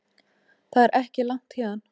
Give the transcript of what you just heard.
Það er ekki langt héðan.